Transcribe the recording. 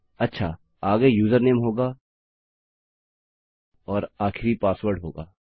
अच्छा आगे यूजरनेम होगा और आखिरी पासवर्ड होगा